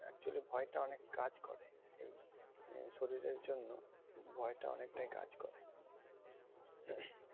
Actually ভয় টা অনেক কাজ করে। সেই যে শরীরের জন্য ভয়টা অনেকটাই কাজ করে।